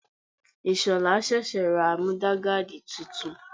Ìshola sẹ̀sẹ̀ ra Múdúgáàdì titun.